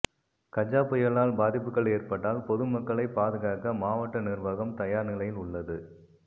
கஜா புயலால் பாதிப்புகள் ஏற்பட்டால் பொதுமக்களை பாதுகாக்க மாவட்ட நிர்வாகம் தயார் நிலையில் உள்ளது